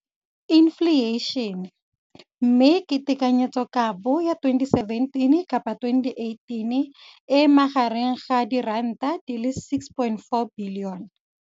Infleišene, mme tekanyetsokabo ya 2017, 18, e magareng ga R6.4 bilione.